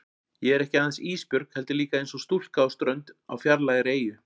Ég er ekki aðeins Ísbjörg heldur líka einsog stúlka á strönd á fjarlægri eyju.